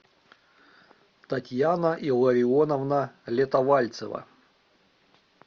татьяна илларионовна летовальцева